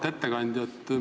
Auväärt ettekandja!